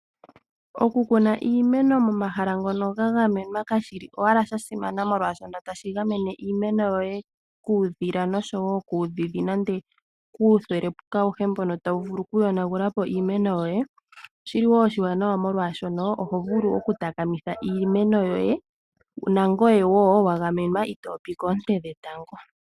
Okukuna iimeno momahala ngono ga gamenwa Kuudhila noshowo kuudhidhi nenge kuuthelepuka awuhe mbono tawu vulu oku yonagulapo iimeno yoye oshili woo oshiwanawa oshoka nangoye woo ohovulu oku takamitha iimeno yoye utopia koonte dhetango.